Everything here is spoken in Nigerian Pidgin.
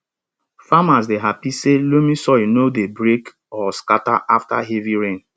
farmers dey happy say loamy soil no dey break or scatter after heavy rain